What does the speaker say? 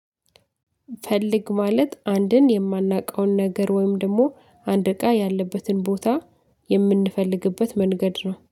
ፈልግ ማለት አንድን የማናውቀውን ነገር ወይም ደግሞ አንድ እቃ ያለበትን ቦታ የምንፈልግበት መንገድ ነው